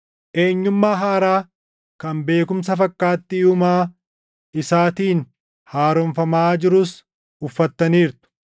eenyummaa haaraa kan beekumsa fakkaattii Uumaa isaatiin haaromfamaa jirus uffattaniirtu.